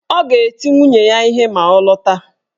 Ọ ga-eti nwunye ya ihe ma ọ lọta